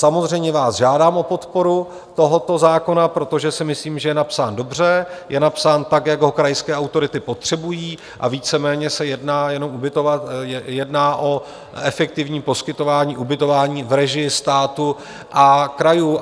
Samozřejmě vás žádám o podporu tohoto zákona, protože si myslím, že je napsán dobře, je napsán tak, jak ho krajské autority potřebují, a víceméně se jedná jenom ubytovat, jedná o efektivním poskytování ubytování v režii státu a krajů.